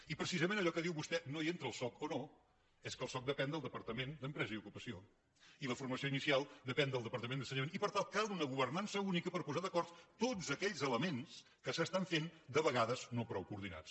i precisament allò que diu vostè no hi entra el soc o no és que el soc de·pèn del departament d’empresa i ocupació i la for·mació inicial depèn del departament d’ensenyament i per tant cal una governança única per posar d’acord tots aquells elements que s’estan fent de vegades no prou coordinats